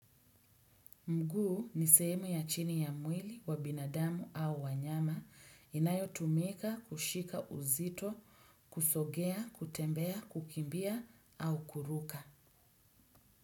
Mguu ni sehemu ya chini ya mwili wa binadamu au wanyama inayotumika, kushika uzito, kusogea, kutembea, kukimbia au kuruka.